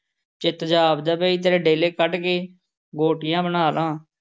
ਚਿੱਤ ਜਿਹਾ ਆਖਦਾ ਪਿਆ, ਤੇਰੇ ਡੇਲੇ ਕੱਢ ਕੇ ਗੋਟੀਆਂ ਬਣਾ ਲਾਂ।